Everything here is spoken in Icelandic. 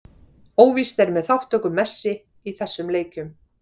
Óvíst er með þátttöku Messi í þessum leikjum.